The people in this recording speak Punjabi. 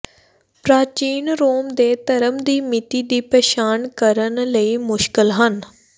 ਪ੍ਰਾਚੀਨ ਰੋਮ ਦੇ ਧਰਮ ਦੀ ਮਿਤੀ ਦੀ ਪਛਾਣ ਕਰਨ ਲਈ ਮੁਸ਼ਕਲ ਹਨ